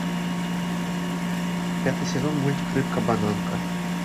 пятый сезон мультик рыбка бананка